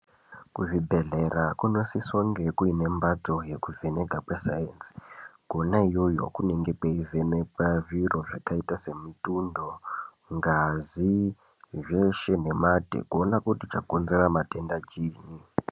Kuzvibhedhlera kunosisa kunge kuine mbatso yokuvheneka kwesainzi Kona iyoyo kunenge kweivhenekwa zviro zvakaita semitundo ngazi zveshe kuona kuti chakonzera.